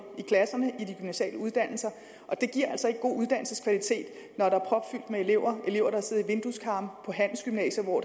i klasserne på de gymnasiale uddannelser og det giver altså ikke en god uddannelseskvalitet når der er propfyldt med elever der elever der sidder i vindueskarmen på handelsgymnasier hvor